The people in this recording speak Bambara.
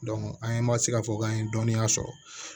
an ye ma se ka fɔ k'an ye dɔnniya sɔrɔ